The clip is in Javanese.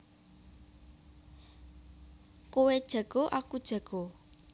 Kowe jago aku jago